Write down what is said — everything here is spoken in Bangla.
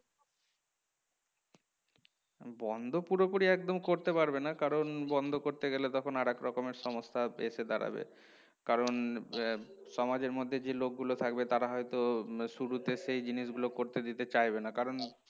বন্ধ পুরোপুরি একদম করতে পারবে না কারণ বন্ধ করতে গেলে তখন আর এক রকমের সমস্যা এসে দাঁড়াবে কারণ আহ সমাজের মধ্যে যে লোকগুলো থাকবে তারা হয়তো উম শুরুতে সেই জিনিস গুলো করতে দিতে চাইবে না কারণ